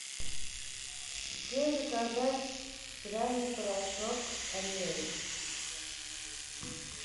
где заказать стиральный порошок ариэль